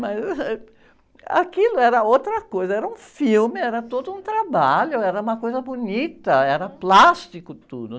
Mas, aquilo era outra coisa, era um filme, era todo um trabalho, era uma coisa bonita, era plástico tudo.